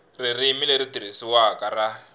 ririmi leri tirhisiwaka ra